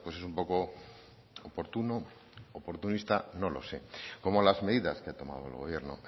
es un poco oportuno oportunista no lo sé como las medidas que ha tomado el gobierno